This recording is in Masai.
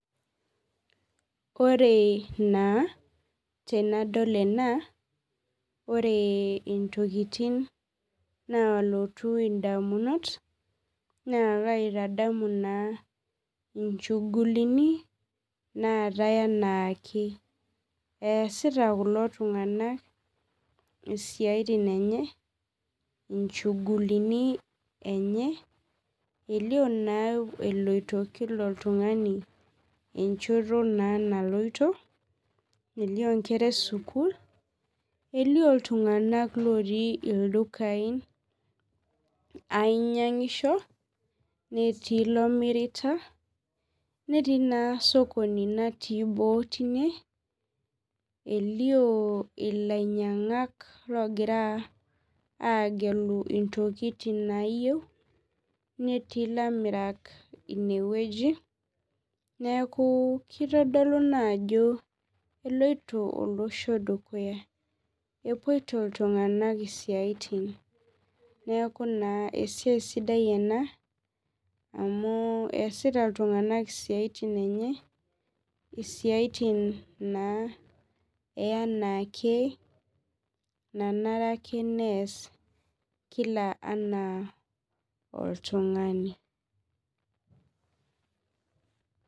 Oree naa tenadol ena oree intokitin naalotu indamunot naakaitadamu naa inchugulini naatai anaake. Easita kulo tung'anak isiaitin enye inchugulini enye, elio naa eloito kila oltung'ani enchoto naa naloito, elio nkera esukul, elio iltung'anak lotii ildukai ainyang'isho, netii loomirita, netii naa sokoni natii boo tine, elioo ilainyang'ak loogira aagelu intokitin naayeu, netii ilamirak inewueji neakuu keitodolu naajo eloito olosho dukuya, epuoito iltung'anak isiaitin. Neaku naa esiai sidai ena amu easita iltung'anak siaitin enye, isiaitin naa eanaake nanareake neas  kila oltung'ani.